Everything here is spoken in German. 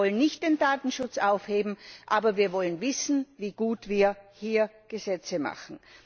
Wir wollen nicht den Datenschutz aufheben, aber wir wollen wissen, wie gut wir hier Gesetze machen.